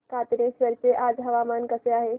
कातनेश्वर चे आज हवामान कसे आहे